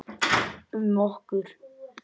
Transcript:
Um okkur.